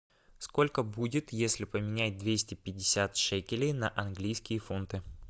сколько будет если поменять двести пятьдесят шекелей на английские фунты